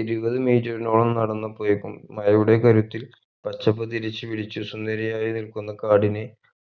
ഇരുപത് metre നോളം നടന്നപ്പോഴേക്കും മഴയുടെ കരുത്തിൽ പച്ചപ്പ് തിരിച്ച് വിരിച്ച് സുന്ദരിയായി നിൽക്കുന്ന കാടിനെ